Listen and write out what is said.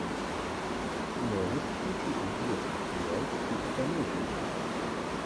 можешь включить интересный сериал типа комедии